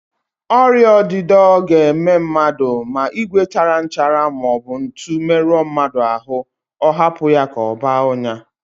Ọrịaọdịdọ ga-eme mmadụ ma ìgwè tara nchara maọbụ ntu merụọ mmadụ ahụ, ọ hapụ ya ka ọ baa ọnyá